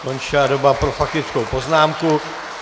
Skončila doba pro faktickou poznámku.